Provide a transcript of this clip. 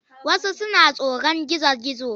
Wasu suna tsoron gizo-gizo.